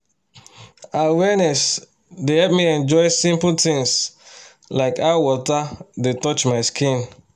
awarenes dey help me enjoy simple things like how water dey touch my skin